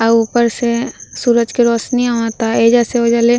अ ऊपर से सूरज के रौशनी आवता ऐजा से ओजा ले।